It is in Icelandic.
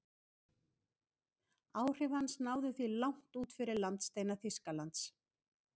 Áhrif hans náðu því langt út fyrir landsteina Þýskalands.